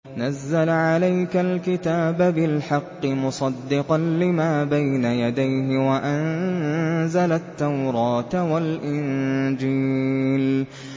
نَزَّلَ عَلَيْكَ الْكِتَابَ بِالْحَقِّ مُصَدِّقًا لِّمَا بَيْنَ يَدَيْهِ وَأَنزَلَ التَّوْرَاةَ وَالْإِنجِيلَ